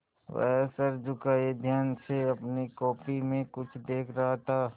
वह सर झुकाये ध्यान से अपनी कॉपी में कुछ देख रहा था